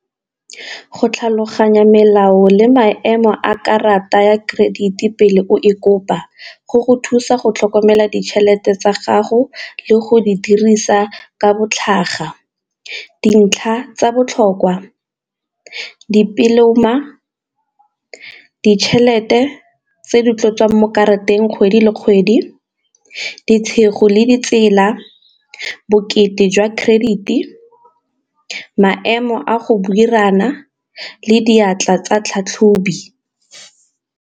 Go tlhaloganya melao le maemo a karata ya credit ko pele o e kopa go go thusa go tlhokomela ditšhelete tsa gago le go di dirisa ka bo tlhaga. Dintlha tsa botlhokwa dipoloma, ditšhelete tse di tlo tswang mo karateng kgwedi le kgwedi, le di tsela, bokete jwa credit e maemo a go le diatla tsa tlhatlhobi.